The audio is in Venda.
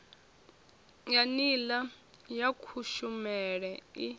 ya nila ya kushumele i